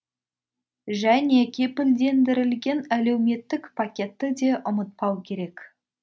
және кепілдендірілген әлеуметтік пакетті де ұмытпау керек